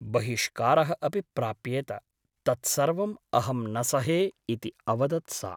बहिष्कारः अपि प्राप्येत । तत्सर्वम् अहं न सहे इति अवदत् सा ।